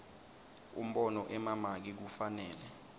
umbono emamaki kufanele